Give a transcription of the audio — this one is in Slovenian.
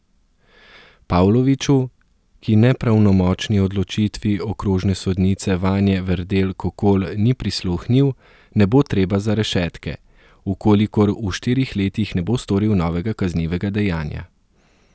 Pavloviću, ki nepravnomočni odločitvi okrožne sodnice Vanje Verdel Kokol ni prisluhnil, ne bo treba za rešetke, v kolikor v štirih letih ne bo storil novega kaznivega dejanja.